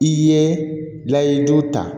I ye layiju ta